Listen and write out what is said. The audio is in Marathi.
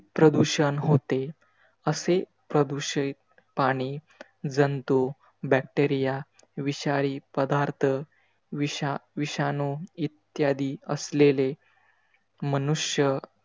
प्रदूषण होते. असे प्रदूषित पाणी, जंतू, bacteria, विषारी पदार्थ, विषाविषाणू इद्यादी असलेले मनुष्य,